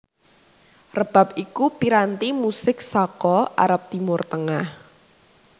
Rebab iku piranti musik saka Arab Timur Tengah